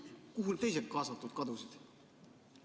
Kuhu teised kaasatud kadusid?